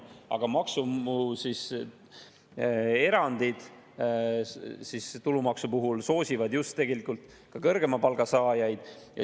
Aga maksuerandid tulumaksu puhul soosivad tegelikult just kõrgema palga saajaid.